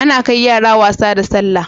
Ana kai yara wasa da sallah